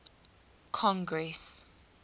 congress